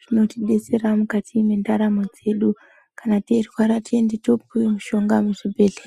zvinotidetsera mukati mendaramo dzedu kana teirwara tiende topuwe mushonga muzvibhedhlera.